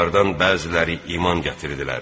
Onlardan bəziləri iman gətirdilər.